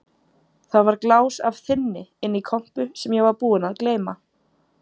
Það var glás af þynni inni í kompu sem ég var búinn að gleyma.